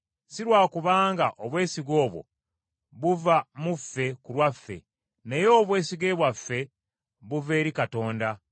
Si lwa kubanga obwesige obwo buva mu ffe ku lwaffe, naye obwesige bwaffe buva eri Katonda,